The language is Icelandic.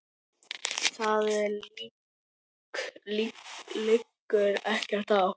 Það liggur ekkert á.